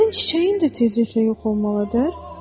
Mənim çiçəyim də tezliklə yox olmalıdır?